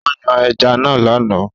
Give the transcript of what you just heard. Ó yan ẹja náà lánàá